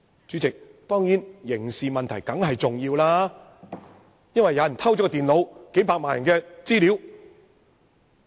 主席，當中的刑事問題當然重要，因為有人偷取電腦，涉及數百萬人的資料。